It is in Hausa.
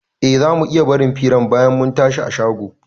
Eh, zamu iya barin firan bayan mun tashi a shago